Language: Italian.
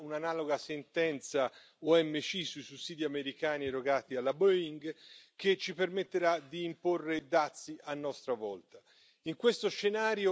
Nei prossimi mesi arriverà un'analoga sentenza OMC sui sussidi americani erogati alla Boeing, che ci permetterà di imporre dazi a nostra volta.